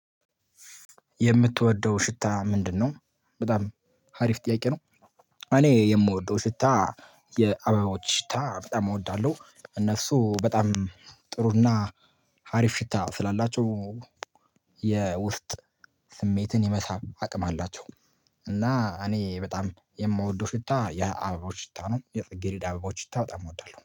የምትወደው ሽታ ምንድነው? በጣም ሀሪፍ ጥያቄ ነው። እኔ የምወደው ሽታ የአበባዎች ሽታ በጣም እወዳለሁ እነሱ በጣም ጥሩና ሀሪፍ ሽታ ስላላቸው። የውስጥ ስሜትን የመሳብ አቅም አላቸው። እና እኔ በጣም የምወደው ሽታ የአበባዎች ሽታ ነው። የጽጌረዳ አበባዎች ሽታ በጣም እወዳለሁ